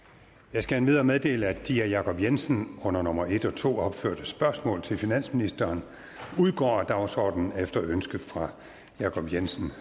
jeg skal endvidere meddele at de af jacob jensen under nummer en og to opførte spørgsmål til finansministeren udgår af dagsordenen efter ønske fra jacob jensen